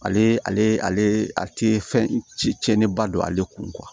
Ale ale a tɛ fɛn ci cɛnniba don ale kun